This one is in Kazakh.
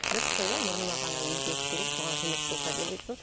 дұрыс қой иә мұрныма ғана өзгеріс керек соған көмек болса деп отырсың